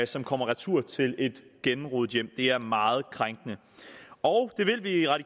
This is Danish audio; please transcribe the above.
som kommer retur til et gennemrodet hjem det er meget krænkende og